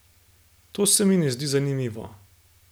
To se mi ne zdi zanimivo.